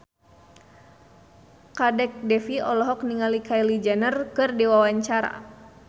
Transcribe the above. Kadek Devi olohok ningali Kylie Jenner keur diwawancara